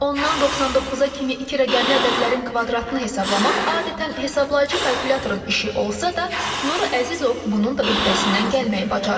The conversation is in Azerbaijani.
Ondan 99-a kimi iki rəqəmli ədədlərin kvadratını hesablamaq adətən hesablayıcı kalkulyatorun işi olsa da, Nuru Əzizov bunun da öhdəsindən gəlməyi bacarır.